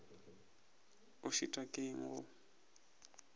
o šitwa ke eng go